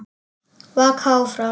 Vaka áfram.